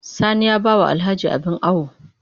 Sani ya ba wa Alhaji abin awo